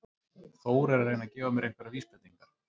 Þór er að reyna að gefa mér einhverjar vísbendingar.